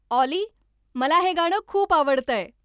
ऑली मला हे गाणं खूप आवडतंय